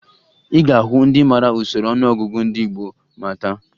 Ị ga-ahụ ndị mara usoro ọnụọgụgụ ndị gboo ma taa